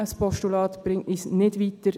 Ein Postulat bringt uns nicht weiter.